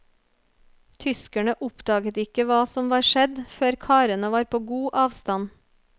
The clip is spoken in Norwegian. Tyskerne oppdaget ikke hva som var skjedd før karene var på god avstand.